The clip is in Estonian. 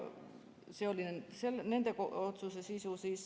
See oli nende otsuse sisu.